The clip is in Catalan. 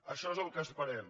això és el que esperem